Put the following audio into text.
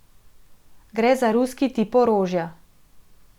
Gre za ruski tip orožja.